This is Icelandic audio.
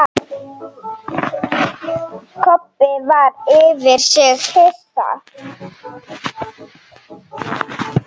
Kobbi var yfir sig hissa.